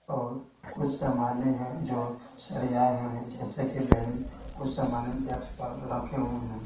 और उस सामान्य जो सरे आए हुए हैं जैसे कि बैलून उस सामान्य डेक्स पर रखे हुए हैं।